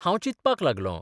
हांब चिंतपाक लागलों.